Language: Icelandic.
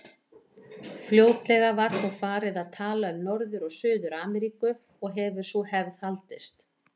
Fljótlega var þó farið að tala um Norður- og Suður-Ameríku og hefur sú hefð haldist.